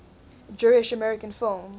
jewish american film